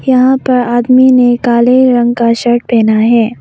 यहां पर आदमी ने काले रंग का शर्ट पहना है।